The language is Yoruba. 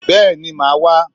Bẹ́ẹ̀ni, màá wá